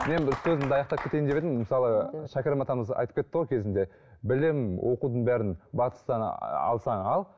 мен бір сөзімді аяқтап кетейін деп едім мысалы шәкәрім атамыз айтып кетті ғой кезінде білім оқудың бәрін батыстан алсаң ал